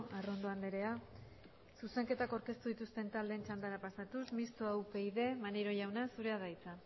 arrondo andrea zuzenketak aurkeztu dituzten taldeen txandara pasatuz mistoa upyd maneiro jauna zurea da hitza